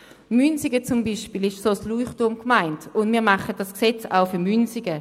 Münsingen beispielsweise ist eine solche Leuchtturmgemeinde, und wir machen dieses Gesetz auch für Münsingen.